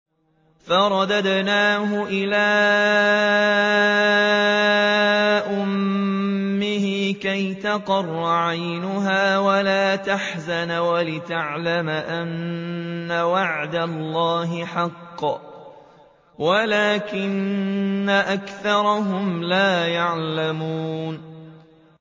فَرَدَدْنَاهُ إِلَىٰ أُمِّهِ كَيْ تَقَرَّ عَيْنُهَا وَلَا تَحْزَنَ وَلِتَعْلَمَ أَنَّ وَعْدَ اللَّهِ حَقٌّ وَلَٰكِنَّ أَكْثَرَهُمْ لَا يَعْلَمُونَ